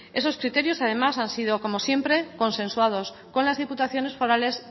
esos criterios además han sido como siempre consensuados con las diputaciones forales